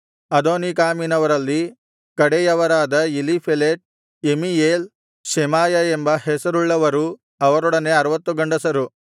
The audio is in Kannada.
ಅದೋನೀಕಾಮಿನವರಲ್ಲಿ ಕಡೆಯವರಾದ ಎಲೀಫೆಲೆಟ್ ಎಮೀಯೇಲ್ ಶೆಮಾಯ ಎಂಬ ಹೆಸರುಳ್ಳವರೂ ಅವರೊಡನೆ 60 ಗಂಡಸರು